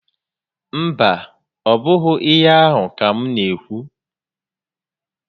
Mba, ọ bụghị íhé ahụ́ ka m n'ékwú